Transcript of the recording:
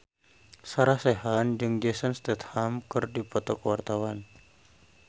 Sarah Sechan jeung Jason Statham keur dipoto ku wartawan